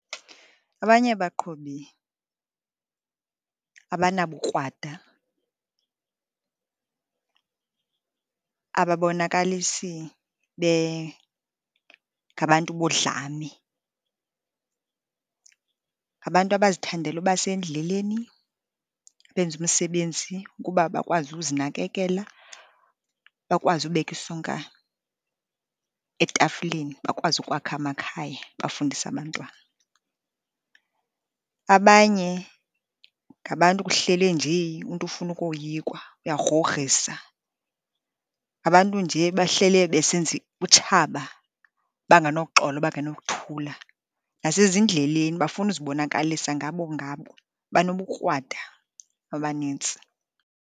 Abanye abaqhubi abanabukrwada, ababonakalisi bengabantu bodlame. Ngabantu abazithandela uba sendleleni, benze imisebenzi ukuba bakwazi ukuzinakekela, bakwazi ubeka isonka etafileni, bakwazi ukwakha amakhaya, bafundise abantwana. Abanye ngabantu kuhlele njee umntu ufuna ukoyikwa, uyagrogrisa. Ngabantu nje bahlele besenza utshaba, banganoxolo bangenokuthula. Nasezindleleni bafuna uzibonakalisa, ngabo ngabo banobukrwada abanintsi.